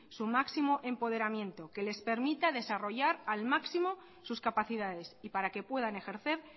su máximo empoderamiento que les permita desarrollar al máximo sus capacidades y para que puedan ejercer